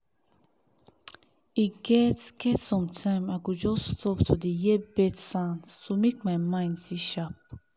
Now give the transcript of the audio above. e get get sometime i go just stop to dey hear bird sounds to make my mind sharp.